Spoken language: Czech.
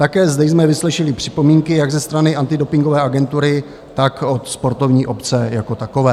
Také zde jsme vyslyšeli připomínky, jak ze strany antidopingové agentury, tak od sportovní obce jako takové.